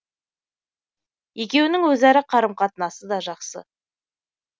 екеуінің өзара қарым қатынасы да жақсы